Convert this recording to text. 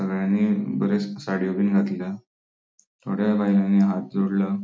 सगळ्यांनी बरे साडीयो बिन घातल्या थोड्या बायलानी हाथ जोड़ला.